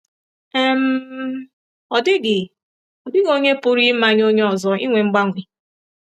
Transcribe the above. um “Ọ dịghị “Ọ dịghị onye pụrụ imanye onye ọzọ inwe mgbanwe.